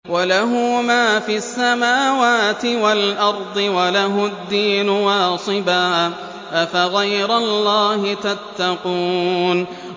وَلَهُ مَا فِي السَّمَاوَاتِ وَالْأَرْضِ وَلَهُ الدِّينُ وَاصِبًا ۚ أَفَغَيْرَ اللَّهِ تَتَّقُونَ